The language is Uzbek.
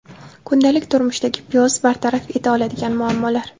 Kundalik turmushdagi piyoz bartaraf eta oladigan muammolar.